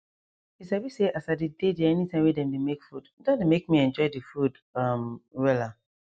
you sabi say as i dey dey there anytime wey dem dey make food don dey make me enjoy the food um wella